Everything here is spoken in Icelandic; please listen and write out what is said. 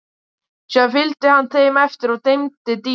Síðan fylgdi hann þeim eftir og teymdi dýrið.